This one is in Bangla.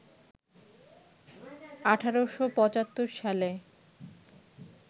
১৮৭৫ সালে